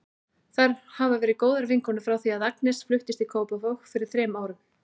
Þær hafa verið góðar vinkonur frá því að Agnes fluttist í Kópavog fyrir þrem árum.